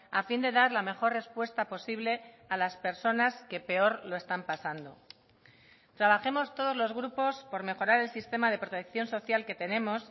a fin de dar la mejor respuesta posible a las personas que peor lo están pasando trabajemos todos los grupos por mejorar el sistema de protección social que tenemos